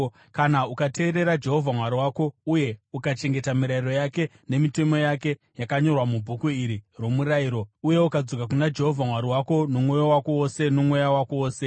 kana ukateerera Jehovha Mwari wako uye ukachengeta mirayiro yake nemitemo yake yakanyorwa mubhuku iri roMurayiro uye ukadzoka kuna Jehovha Mwari wako nomwoyo wako wose nomweya wako wose.